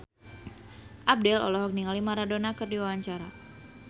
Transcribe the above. Abdel olohok ningali Maradona keur diwawancara